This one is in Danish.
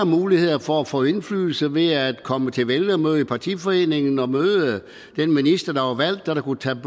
muligheder for at få indflydelse ved at komme til vælgermøde i partiforeningen og møde den minister der var valgt og som kunne tage